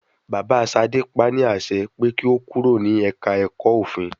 Bàbá Ṣadé pa ní àṣẹ pé kí o kúrò ní ẹ̀ka ẹ̀kọ́ òfin.